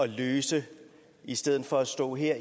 løse i stedet for at stå her